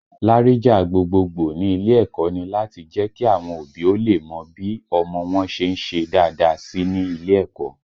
Láríjà gbogboogbò ní ilé ẹ̀kọ́ ni láti le jẹ́ kí àwọn òbí ó lè mọ bí ọmọ wọn ṣe ń ṣe dáadáa sí nílé ẹ̀kọ́